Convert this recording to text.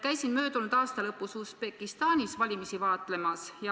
Käisin möödunud aasta lõpus Usbekistanis valimisi vaatlemas.